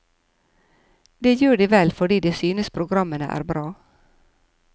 Det gjør de vel fordi de synes programmene er bra.